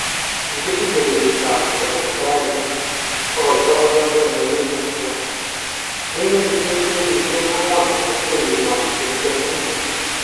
Kikisiche kenyitab 1987, migin eng kenyishek agwan ang werinywan Kim Jong-un.